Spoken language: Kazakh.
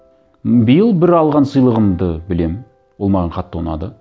м биыл бір алған сыйлығымды білемін ол маған қатты ұнады